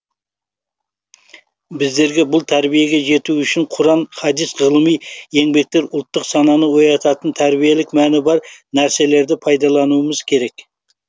біздерге бұл тәрбиеге жету үшін құран хадис ғылыми еңбектер ұлттық сананы оятатын тәрбиелік мәні бар нәрселерді пайдалануымыз керек